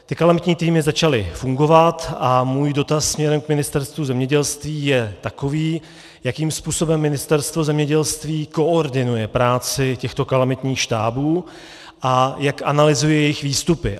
Ty kalamitní týmy začaly fungovat a můj dotaz směrem k Ministerstvu zemědělství je takový: Jakým způsobem Ministerstvo zemědělství koordinuje práci těchto kalamitních štábů a jak analyzuje jejich výstupy?